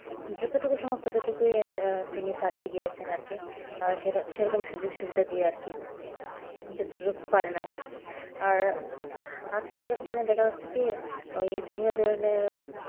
যতটুকু সামর্থ্য ততটুকুই তিনি চালিয়ে গিয়েছেন আর কি সেরকম সুযোগ-সুবিধা দিয়ে আর কি আরকি আর আজকালকার দিনে দেখা যাচ্ছে কি ওই বিভিন্ন ধরনের